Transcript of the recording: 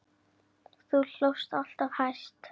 Þú hlóst alltaf hæst.